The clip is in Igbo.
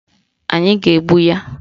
Anyị ga-egbu ya